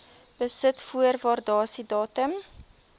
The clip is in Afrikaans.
besit voor waardasiedatum